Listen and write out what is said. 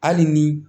Hali ni